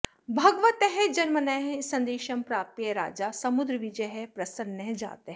भगवतः जन्मनः सन्देशं प्राप्य राजा समुद्रविजयः प्रसन्नः जातः